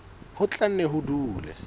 ho tla nne ho dule